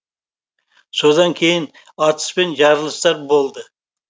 содан кейін атыс пен жарылыстар болды